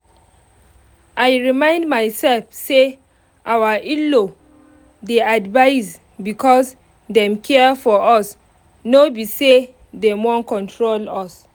i remind myself say our in-law dey advise because dem care for us no be say dem wan control us